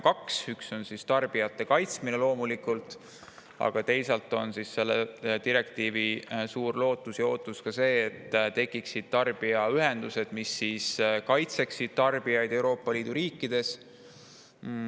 Üks on loomulikult tarbijate kaitsmine, aga teisalt on selle direktiivi korral suur lootus ja ootus, et tekivad tarbijaühendused, mis kaitsevad tarbijaid Euroopa Liidu riikides.